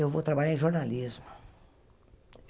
Eu vou trabalhar em jornalismo.